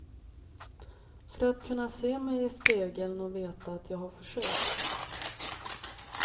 För att kunna se mig i spegeln och veta att jag har försökt.